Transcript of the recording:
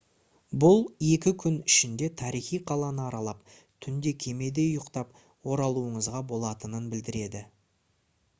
бұл екі күн ішінде тарихи қаланы аралап түнде кемеде ұйықтап оралуыңызға болатынын білдіреді